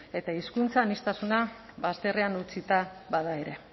eta hizkuntza aniztasuna bazterrean utzita bada ere